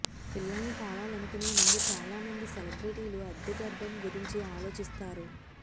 పిల్లల్ని కావాలనుకునేముందు చాలా మంది సెలబ్రిటీలు అద్దె గర్భం గురించి ఆలోచిస్తారు